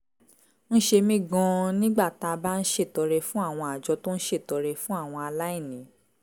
ń ṣe mí gan-an nígbà tá a bá ń ṣètọrẹ fún àwọn àjọ tó ń ṣètọrẹ fún àwọn aláìní